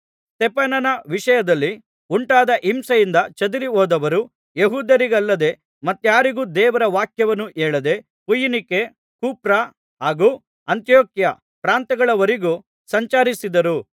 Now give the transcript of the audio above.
ಸ್ತೆಫನನ ವಿಷಯದಲ್ಲಿ ಉಂಟಾದ ಹಿಂಸೆಯಿಂದ ಚದರಿಹೋದವರು ಯೆಹೂದ್ಯರಿಗಲ್ಲದೇ ಮತ್ತಾರಿಗೂ ದೇವರ ವಾಕ್ಯವನ್ನು ಹೇಳದೆ ಫೊಯಿನಿಕೆ ಕುಪ್ರ ಹಾಗೂ ಅಂತಿಯೋಕ್ಯ ಪ್ರಾಂತ್ಯಗಳವರೆಗೂ ಸಂಚರಿಸಿದರು